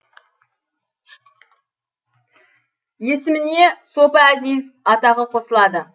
есіміне сопы әзиз атағы қосылады